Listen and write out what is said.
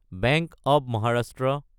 bank of Maharashtra